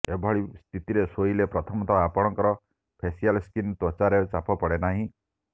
ଏଭଳି ସ୍ଥିତିରେ ଶୋଇଲେ ପ୍ରଥମତଃ ଆପଣଙ୍କର ଫେସିଆଲ୍ ସ୍କିନ୍ ତ୍ୱଚାରେ ଚାପ ପଡ଼େ ନାହିଁ